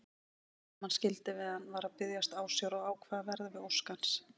Hermann skildi að hann var að biðjast ásjár og ákvað að verða við ósk hans.